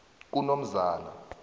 kunomzana